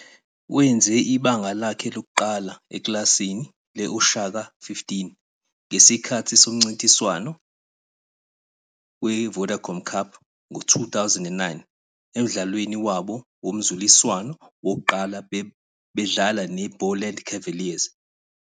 Wenze ibanga lakhe lokuqala ekilasini le- Oshaka XV ngesikhathi somncintiswano weVodacom Cup ngo-2009, emdlalweni wabo womzuliswano wokuqala bedlala ne- IBoland Cavaliers.